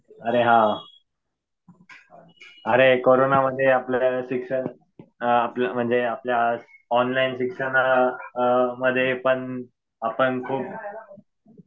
अरे हा. अरे कोरोनामध्ये आपल्या शिक्षण आपलं म्हणजे आपल्या ऑनलाईन शिक्षणामध्ये पण आपण खूप